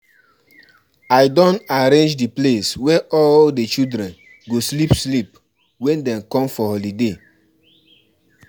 I don arrange the place wey all the children go sleep sleep wen dem come for holiday